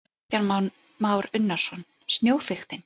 Kristján Már Unnarsson: Snjóþykktin?